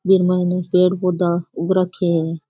इ माइन पेड़ पौधा उग रखिये है।